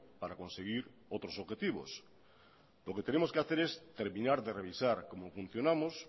para conseguir otros objetivos lo que tenemos que hacer es terminar de revisar cómo funcionamos